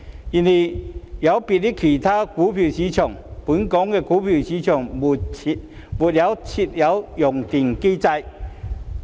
然而，有別於其他股票市場，本港股票市場未設有熔斷機制。